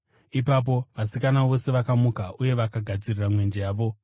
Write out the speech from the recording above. “Ipapo vasikana vose vakamuka uye vakagadziridza mwenje yavo.